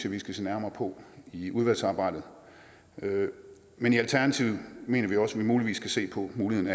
at vi skal se nærmere på i udvalgsarbejdet men i alternativet mener vi også at vi muligvis skal se på muligheden